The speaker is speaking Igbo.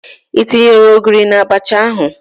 Ị tinyere Ogiri na Abacha ahụ?